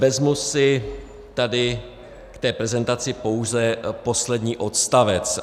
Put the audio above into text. Vezmu si tady k té prezentaci pouze poslední odstavec.